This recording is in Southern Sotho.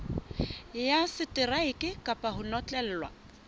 ya seteraeke kapa ho notlellwa